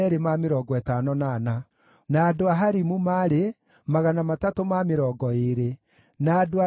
Nacio ndungata cia hekarũ: arĩa maarĩ a njiaro cia Ziha, na Hasufa, na Tabaothu,